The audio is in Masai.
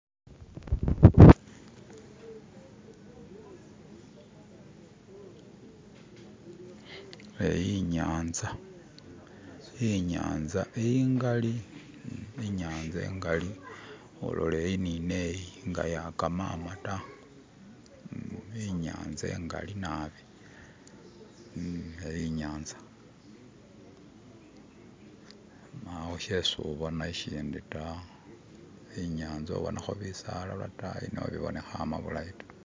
Iyi inyanza, inyanza ingali, inyanza ingali olola iyi ni neyi nga keyagama da. Inyanza ingali nabi. Iyi inyanza, mpawo shesi ubonako shindi da, inyanza obonako bisala lwadani nekibibonekelela bulayi da